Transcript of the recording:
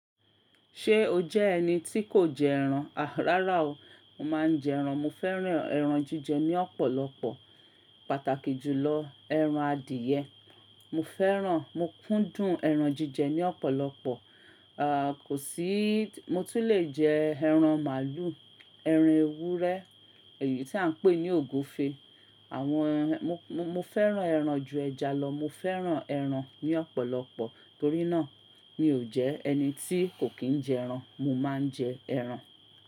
Ṣé o jẹ́ ẹni tí kò jẹ ẹran? Rárá o, mo máa ń jẹ ẹran. Mo fẹ́ràn ẹran jíjẹ ní ọ̀pọ̀lọpọ̀, pàtàkì jùlọ ẹran adìẹ. Mo fẹ́ràn, mo kúndùn ẹran jíjẹ ní ọ̀pọ̀lọpọ̀. À, kò sí, mo tún lè jẹ ẹran màlúù, ẹran ewúrẹ́, èyí tí à ń pè ní ògúfe. Àwọn ẹran, mo, mo fẹ́ràn ẹran ju ẹja lọ. Mo fẹ́ràn ẹran ní ọ̀pọ̀lọpọ̀. Torí náà mi ò jẹ́ ẹni tí kò kí ń jẹ ẹran. Mo máa ń jẹ ẹran.